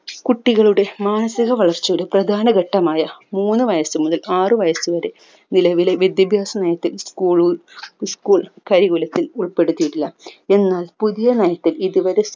കുട്ടികളുടെ മാനസിക വളർച്ചയുടെ പ്രധാനഘട്ടമായ മുന്ന്‌ വയസു മുതൽ ആറു വയസുവരെ നിലവിലെ വിദ്യാഭ്യാസ നയത്തിൽ school school ഉൾപ്പെടുത്തിയിട്ടില്ല എന്നാൽ പുതിയ നയത്തിൽ ഇതുവരെ